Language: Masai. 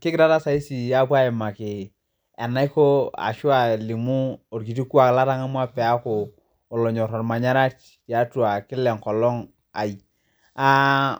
Kigira taa saisi apuo aimaki enaiko ashu alimu olkiti ilkuak latangamua paaku olonyor olmanyara tiatu kila enkolong aii.